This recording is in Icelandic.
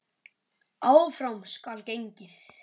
Áfram skal gengið.